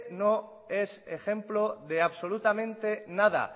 no es ejemplo de absolutamente nada